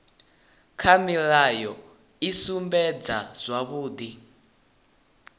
kha mulayo i sumbedza zwavhudi